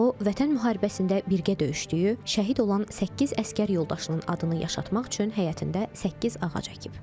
O, Vətən müharibəsində birgə döyüşdüyü, şəhid olan səkkiz əsgər yoldaşının adını yaşatmaq üçün həyətində səkkiz ağac əkib.